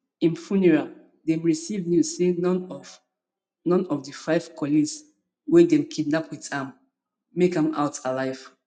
im funeral dem receive news say none of none of di five colleagues wey dem kidnapped wit am make am out alive